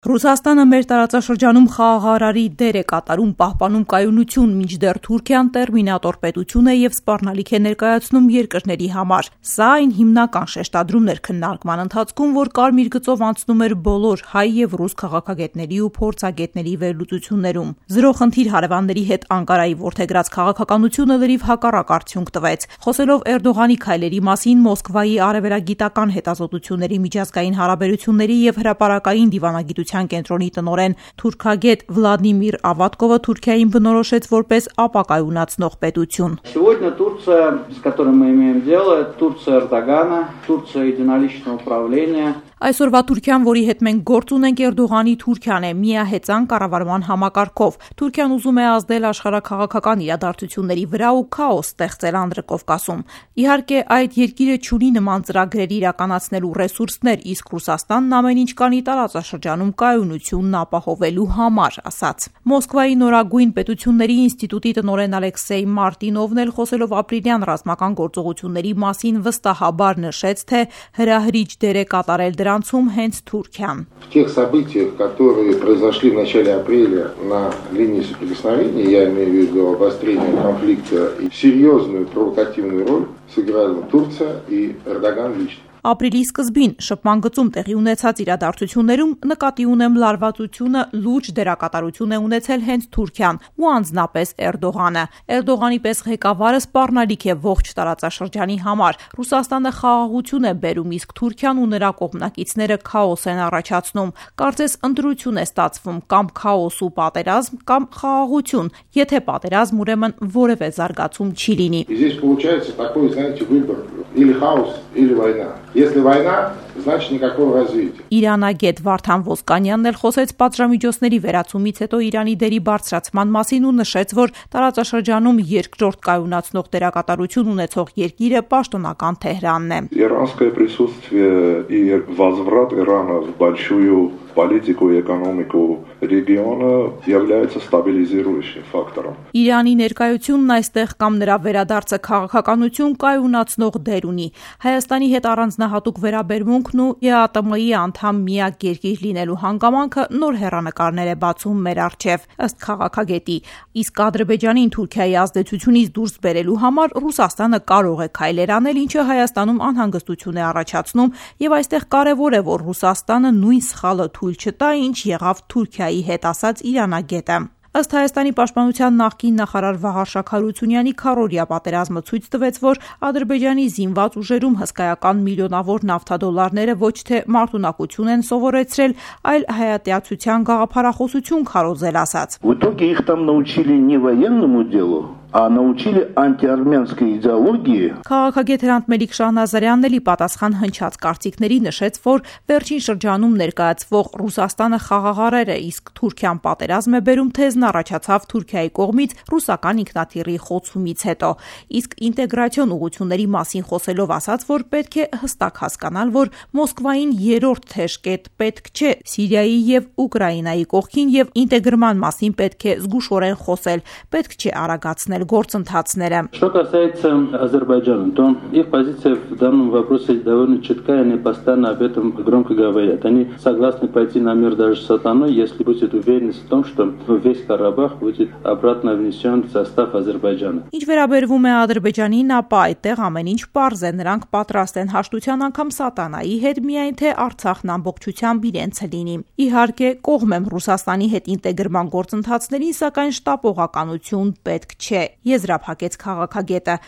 Ռուսաստանը մեր տարածաշրջանում խաղաղարարի դեր է կատարում, պահպանում կայունություն, մինչդեռ Թուրքիան «տերմինատոր» պետություն է ու սպառնալիք է ներկայացնում երկրների համար, սա այն հիմնական շեշտադրում էր քննարկումներում, որ կարմիր գծով անցնում էր բոլոր հայ և ռուս քաղաքագետների ու փորձագետների վերլուծություններում: Զրո խնդիր հարևանների հետ Անկարայի որդեգրած քաղաքականությունը լրիվ հակառակ արդյունք տվեց: Խոսելով Էրդողանի քայլերի մասին՝ Մոսկվայի Արևելագիտական հետազոտությունների, միջազգային հարաբերությունների և հրապարակային դիվանագիտության կենտրոնի տնօրեն, թուրքագետ Վլադիմիր Ավատկովը Թուրքիային բնորոշեց որպես ապակայունացնող պետություն: «Այսօրվա Թուրքիան, որի հետ մենք գործ ունենք, Էրդողանի Թուրքիան է՝ միահեծան կառավարման համակարգով: Թուրքիան ուզում է ազդել աշխարհաքաղաքական իրադարձությունների վրա ու քաոս ստեղծել Անդրկովկասում: Իհարկե՝ այդ երկիրը չունի նման ծրագրեր իրականացնելու ռեսուրսներ, իսկ Ռուսաստանն ամեն ինչ կանի տարածաշրջանում կայունությունն ապահովելու համար»,- ասաց: Մոսկվայի Նորագույն պետությունների ինստիտուտի տնօրեն Ալեքսեյ Մարտինովն էլ, խոսելով ապրիլյան ռազմական գործողությունների մասին, վստահաբար նշեց, թե հրահրիչ դեր է կատարել դրանում հենց Թուրքիան։ «Ապրիլի սկզբին շփման գծում տեղի ունեցած իրադարձություններում՝ նկատի ունեմ լարվածությունը, լուրջ դերակատարություն է ունեցել հենց Թուրքիան ու անձնապես Էրդողանը: Էրդողանի պես ղեկավարը սպառնալիք է ողջ տարածաշրջանի համար: Ռուասաստանը խաղաղություն է բերում, իսկ Թուրքին ու նրա կողմնակիցները՝ քաոս են առաջացնում: Կարծես՝ ընտրություն է ստացվում կամ քաոս ու պատերազմի, կամ խաղաղության միջեւ։ Եթե պատերազմ՝ ուրեմն որևէ զարգացում չի լինի»: Իրանագետ Վարդան Ոսկանյանը խոսեց պատժամիջոցների վերացումից հետո Իրանի դերի բարձրացման մասին ու նշեց, որ տարածաշրջանում երկրորդ կայունացնող դերակատարություն ունեցող երկիրը պաշտոնական Թեհրանն է: «Իրանի ներկայությունն այստեղս կամ նրա վերադարձը, քաղաքականությունը կայունացնող դեր ունի: Հայաստանի հետ առանձնահատուկ վերաբերմունքն ու ԵԱՏՄ-ի անդամ միակ երկիր լինելու հանգամանքը նոր հեռանկարներ են բացում»։ Ադրբեջանին Թուրքայի ազդեցությունից դուրս բերելու համար Ռուսաստանը կարող է քայլեր անել, ինչը ՀՀ-ում անհանգստություն է առաջացնում, և այստեղ կարևոր է, որ ՌԴ- ն նույն սխալը թույլ չտա, ինչ եղավ Թուրքիայի հետ՝ ասաց իրանագետը: Ըստ ՀՀ պաշտպանության նախկին նախարար Վաղարշակ Հարությունյանի՝ քառօրյա պատերազմը ցույց տվեց, որ Ադրբեջանի ԶՈւ-ում հսկայական միլիոնավոր նավթադոլարները ոչ թե մարտունակություն են սովորեցրել, այլ հայատյացության գաղափարախոսություն քարոզել՝ ասաց: Քաղաքագետ Հրանտ Մելիք-Շահնազարյանն էլ, ի պատասխան հնչած կարծիքների, նշեց, որ վերջին շրջանում ներկայացվող «Ռուսաստանը խաղաղարար է իսկ Թուրքիան պատերազմ է բերում» թեզն առաջացավ Թուրքիայի կողմից ռուսական ինքնաթիռի խոցումից հետո: Իսկ ինտեգրացիոն ուղղությունների մասին խոսելով՝ ասաց, որ պետք է հստակ հասկանալ, որ Մոսկվային երրորդ թեժ կետը պետք չէ Սիրիայի ու Ուկրաինայի կողքին ու ինտեգրման մասին պետք է զգուշորեն խոսել, պետք չէ արագացնել գործընթացները:«Ինչ վերաբերում է Ադրբեջանին, ապա այդտեղ ամեն ինչ պարզ է։ Նրանք պատրաստ են հաշտության անգամ սատանայի հետ, միայն թե Արցախն ամբողջությամբ իրենցը լինի»: Իհարկե՝ կողմ եմ Ռուսաստանի հետ ինտեգրման գործընթացներին, սակայն շտապողականություն պետք չէ՝ եզրափակեց քաղաքագետը: